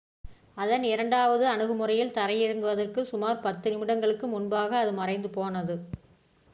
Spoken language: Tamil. அதன் இரண்டாவது அணுகுமுறையில் தரையிறங்குவதற்கு சுமார் பத்து நிமிடங்களுக்கு முன்பாக அது மறைந்து போனது